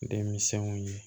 Denmisɛnw ye